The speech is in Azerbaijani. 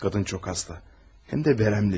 Qadın çox xəstə, həm də vərəmli.